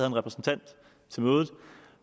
en repræsentant